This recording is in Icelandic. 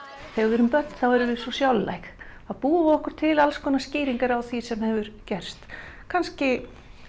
þegar við erum börn þá erum við svo þá búum við okkur til alls konar skýringar á því sem hefur gerst kannski